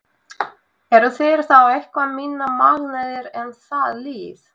Eru þeir þá eitthvað minna magnaðir en það lið?